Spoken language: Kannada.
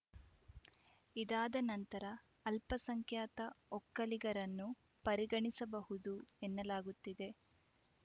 ಇದಾದ ನಂತರ ಅಲ್ಪಸಂಖ್ಯಾತ ಒಕ್ಕಲಿಗರನ್ನು ಪರಿಗಣಿಸಬಹುದು ಎನ್ನಲಾಗುತ್ತಿದೆ